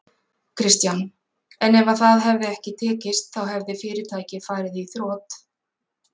Kristján: En ef það hefði ekki tekist þá hefði fyrirtækið farið í þrot?